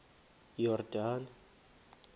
yordane